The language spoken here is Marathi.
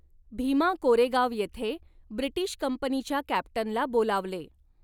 भीमा कोरेगाव येथे ब्रिटीश कंपनीच्या कॅप्टनला बोलावले.